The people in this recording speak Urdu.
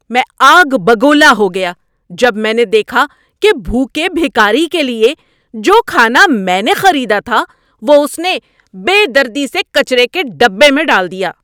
میں آگ بگولا ہو گیا جب میں نے دیکھا کہ بھوکے بھکاری کے لیے جو کھانا میں نے خریدا تھا وہ اس نے بے دردی سے کچرے کے ڈبے میں ڈال دیا۔